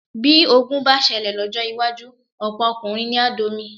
Bí ogun bá ṣẹlẹ̀ lọ́jọ́ iwájú, ọ̀pọ̀ ọkùnrin ni á domi.